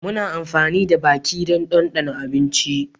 Muna amfani da baki don dandana abinci